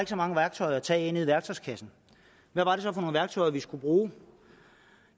så meget værktøj at tage af i værktøjskassen hvad var det så for nogle værktøjer vi skulle bruge